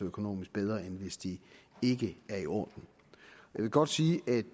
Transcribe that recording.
økonomisk bedre end hvis de ikke er i orden jeg vil godt sige at